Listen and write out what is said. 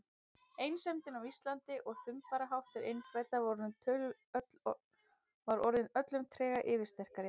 Einsemdin á Íslandi og þumbaraháttur innfæddra var orðin öllum trega yfirsterkari.